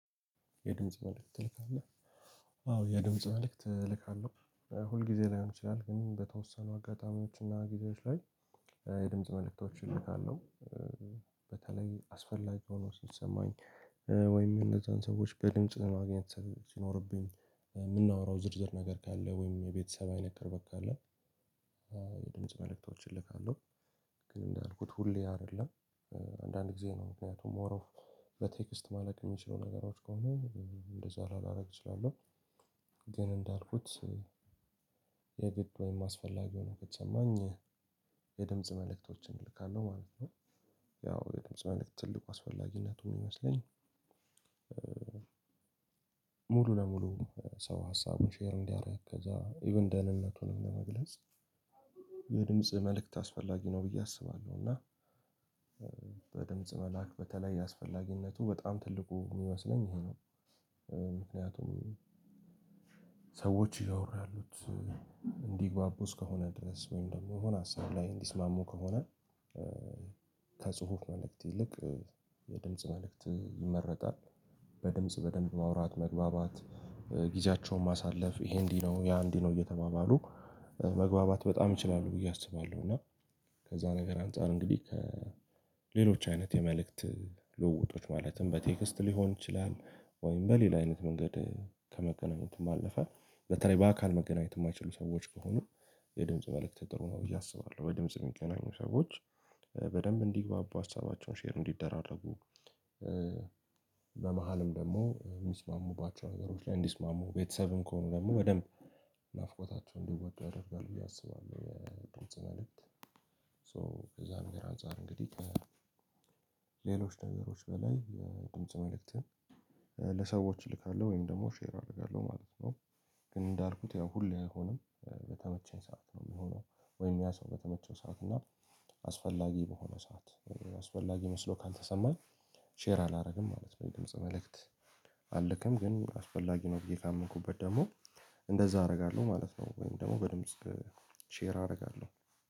የድምጽ መልእክት ትልካለህ? አዎ የድምጽ መልእክት እልካለሁ ሁል ጊዜ ላይሆን ይችላል ግን በተወሰኑ አጋጣሚዎች እና ጊዜዎች ላይ። የድምጽ መልእክቶችን እልካለሁ። በተለይ አስፈላጊ ሆኖ ሲሰማኝ። ወይም እነዛን ሰዎች በድምጽ ማግኘት ሲኖርብኝ ምናወራው ዝርዝር ነገር ካለ ወይም የቤተሰብ አይነት ቅርበት አለ። የድምጽ መልእክቶችን እልካለሁ። ግን እንዳልኩት ሁሌ አይደለም። አንዳንድ ጊዜ ነው ምክንያቱም ሞር ኦፍ በቴክስት ማለቅ የሚችሉ ነገሮች ከሆኑ እንደዛ ላላረግ እችላለሁ። ግን እንዳልኩት የግድ ወይም አስፈላጊ ሆኖ ከተሰማኝ የድምጽ መልእክቶችን እልካለሁ ማለት ነው። ያው የድምጽ መልእክት ትልቁ አስፈላጊነቱ ሚመስለኝ ሙሉ ለሙሉ ሰው ሀሳቡን ሼር እንዲደረግ ከዛ ኢቭን ደህንነቱንም ለመግለጽ። የድምጽ መልእክት አስፈላጊ ነው ብዬ አስባለሁ። እና በድምጽ መላአክ በተለይ አስፈላጊነቱ በጣም ትልቁ ሚመስለኝ ይሄ ነው። ምክንያቱም ሰዎች እያወሩ ያሉት እንዲግባቡ እስከሆነ ድረስ ወይም ደግሞ የሆነ ሀሳብ ላይ እንዲስማሙ ከሆነ። ከጽሁፍ መልእክት ይልቅ የድምጽ መልእክት ይመረጣል። በድምጽ በደንብ ማውራት መግባባት ጊዜያቸውን ማሳለፍ ይሄ እንዲህ ነው ያ እንዲህ ነው እየተባባሉ መግባባት በጣም ይችላሉ ብዬ አስባለሁ። እና ከዛ ነገር አንፃር እንግዲ ከ ሌሎች አይነት የመልዕክት ልውውጦች ማለትም በቴክስት ሊሆን ይቻላል ወይም በሌላ አይነት መንገድ ከመገናኘትም ባለፈ በተለይ በአካል መገናኘት ማይችሉ ሰዎች ከሆኑ። የድምጽ መልእክት ጥሩ ነው ብዬ አስባለሁ። በድምጽ የሚገናኙ ሰዎች በደምብ እንዲግባቡ ሀሳባቸውን ሼር እንዲደራረጉ። በመሃልም ደግሞ ሚስማሙባቸው ነገሮች ላይ እንዲስማሙ ቤተሰብም ከሆኑ ደግሞ በደንብ ናፍቆታቸውን እንዲወጡ ያደርጋል ብዬ አስባለሁ። የድምጽ መልእክት ሶ ከዛም ነገር አንፃር እንግዲህ ከ ሌሎች ነገሮች በላይ የድምጽ መልእክትን ለሰዎች እልካለሁ ወይም ደግሞ ሼር አደርጋለሁ ማለት ነው። እንዳልኩት ያው ሁሌ አይሆንም በተመቸኝ ሰዓት ነው ሚሆነው። ወይም ያ ሰው በተመቸው ሰዓት እና አስፈላጊ በሆነ ሰዓት አስፈላጊ መስሎ ካልተሰማኝ ሼር አላደርግም ማለት ነው። አልክም ግን አስፈላጊ ነው ብዬ ካመንኩበት ደግሞ እንደዛ አደርጋለሁ ማለት ነው። ወይም ደግሞ በድምጽ ሼር አረጋለሁ